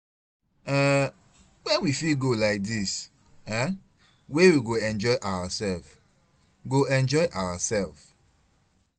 um Where we fit go like this um wey we go enjoy ourself? go enjoy ourself?